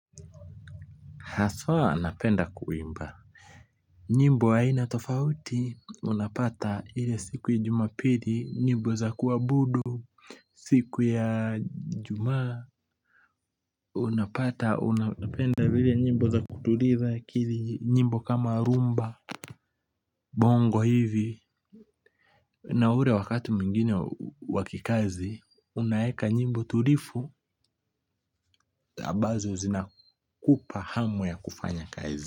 Haswa napenda kuimba. Nyimbo haina tofauti, unapata ile siku ya jumapili, nyimbo za kuabudu, siku ya ijumaa, unapata, unapenda zile nyimbo za kutuliza akili, nyimbo kama rhumba. Bongo hivi, na ule wakati mwingine wa kikazi, unaweka nyimbo tulivu, ambazo zinakupa hamu ya kufanya kazi.